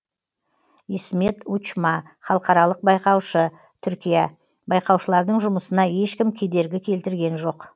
исмет учма халықаралық байқаушы түркия байқаушылардың жұмысына ешкім кедергі келтірген жоқ